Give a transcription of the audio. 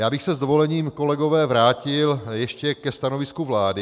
Já bych se s dovolením, kolegové, vrátil ještě ke stanovisku vlády.